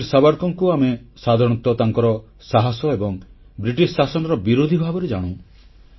ବୀର ସାବରକରଙ୍କୁ ଆମେ ସାଧାରଣତଃ ତାଙ୍କର ସାହସ ଏବଂ ବ୍ରିଟିଶ ଶାସନର ବିରୋଧି ଭାବରେ ଜାଣୁ